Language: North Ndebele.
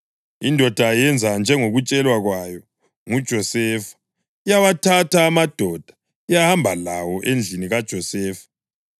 Indoda yenza njengokutshelwa kwayo nguJosefa, yawathatha amadoda yahamba lawo endlini kaJosefa.